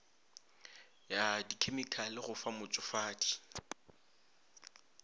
ya dkhemikhale go fa motšofadi